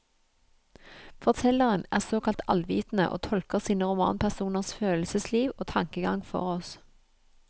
Fortelleren er såkalt allvitende, og tolker sine romanpersoners følelsesliv og tankegang for oss.